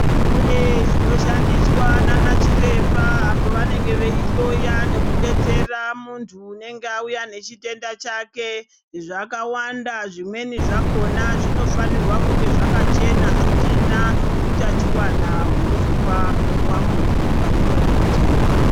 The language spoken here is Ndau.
Kune zvinoshandiswa nana chiremba apo vanenge veihloya nekudetsera muntu unenge vauya nechitenda chake zvakawanda zvimweni zvakona zvinofanirwa kunge zvakachena zvisina utachiwana unozopuwa muntu wauya nechitenda.